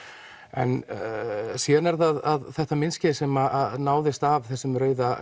en síðan er það þetta myndskeið sem náðist af þessum rauða